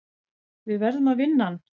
Við verðum að vinna hann.